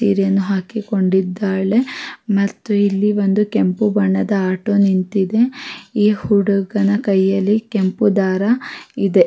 ಸೀರೆಯನ್ನು ಹಾಕಿಕೊಂಡಿದ್ದಾಳೆ ಮತ್ತು ಇಲ್ಲಿ ಒಂದು ಕೆಂಪು ಬಣ್ಣದ ಆಟೋ ನಿಂತಿದೆ ಈ ಹುಡುಗನ ಕೈಯಲ್ಲಿ ಕೆಂಪು ದಾರ ಇದೆ.